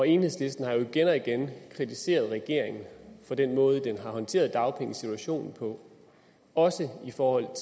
enhedslisten har jo igen og igen kritiseret regeringen for den måde den har håndteret dagpengesituationen på også i forhold